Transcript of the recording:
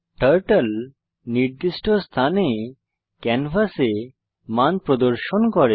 turtle নির্দিষ্ট স্থানে ক্যানভাসে মান প্রদর্শন করে